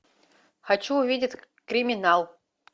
хочу увидеть криминал